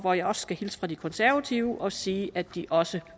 og jeg skal hilse fra de konservative og sige at de også